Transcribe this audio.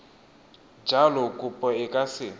jalo kopo e ka se